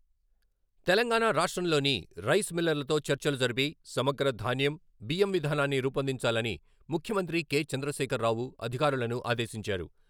తెలంగాణా రాష్ట్రంలోని రైస్ మిల్లర్లతో చర్చలు జరిపి సమగ్ర ధాన్యం, బియ్యం విధానాన్ని రూపొందించాలని ముఖ్యమంత్రి కె.చంద్రశేఖరరావు అధికారులను ఆదేశించారు.